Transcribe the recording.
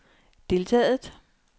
deltaget